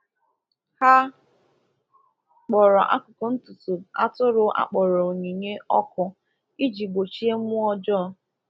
Ha kpọrọ akụkụ ntutu atụrụ a kpọrọ onyinye ọkụ iji gbochie mmụọ ọjọọ.